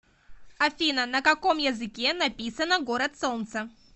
афина на каком языке написано город солнца